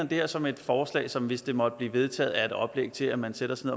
det her som et forslag som hvis det måtte blive vedtaget er et oplæg til at man sætter sig